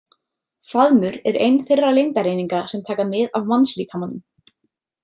Faðmur er ein þeirra lengdareininga sem taka mið af mannslíkamanum.